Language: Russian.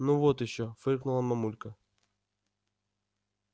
ну вот ещё фыркнула мамулька